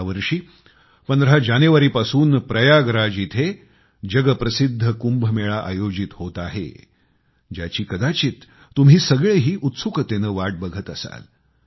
यावर्षी 15 जानेवारीपासून प्रयागराज येथे जगप्रसिद्ध कुंभमेळा आयोजित होत आहे ज्याची कदाचित तुम्ही सगळेही उत्सुकतेने वाट बघत असाल